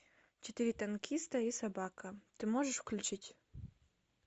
четыре танкиста и собака ты можешь включить